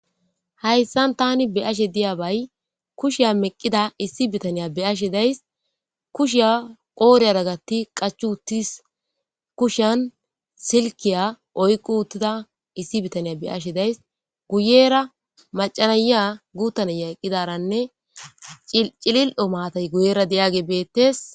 Haysan tani be'ashe de'iyay kushe meqqida issi bitane be'ashe de'ays. Kushiya qoodhiyara vattidi qachchi wottis. Kushan silke oyki uttida issi bita e be'ashe de'ays. Guyera macca na'iya guuta na'iya eqqidaranne cilil'o maatay guyera de'iyagey beetees.